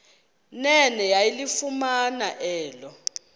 nene yalifumana elo